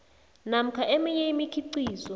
namkha eminye imikhiqizo